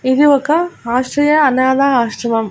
ఇది ఒక ఆస్ట్రియా అనాధ ఆశ్రమం.